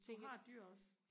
du har dyr også